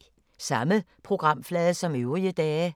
Samme programflade som øvrige dage